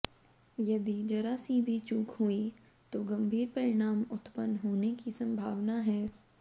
यदि जरा सी भी चूक हुई तो गंभीर परिणाम उत्पन्न होने की संभानवा है